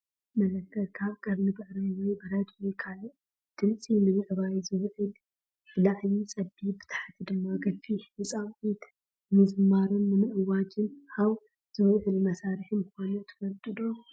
መለከት ካብ ቀርኒ ብዕራይ ወይ ብረት ወይ ካልእ ድምጺ ንምዕባይ ዝውዕል፡ ብላዕሊ ፀቢብ፡ ብታሕቲ ድማ ገፊሕ ንጻውዒት፡ ንምዝማርን ንምእዋጅን ዓውዝውዕል መሳርሒ ምኳኑ ትፈልጡ ዶ ?